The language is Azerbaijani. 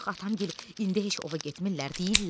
Axı atamgil indi heç ova getmirlər.